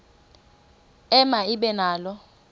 ema ibe nalo